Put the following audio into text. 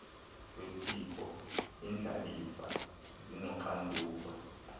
wesiko iindlalifa zinoxanduva